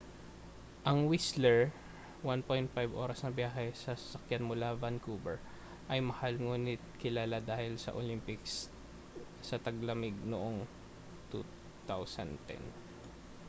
ang whistler 1.5. oras na biyahe sa sasakyan mula vancouver ay mahal nguni't kilala dahil sa olympics sa taglamig noong 2010